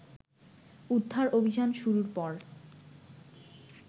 উদ্ধার অভিযান শুরুর পর